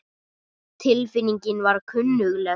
Tilfinningin var kunnugleg.